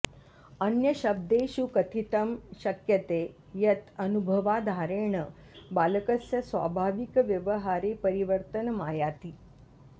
अन्यशब्देषु कथितुं शक्यते यत् अनुभवाधारेण बालकस्य स्वाभाविकव्यवहारे परिवर्तनमायाति